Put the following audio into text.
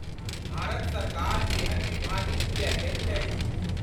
भारत सरकार एहन विभाजन किए कयलकै ?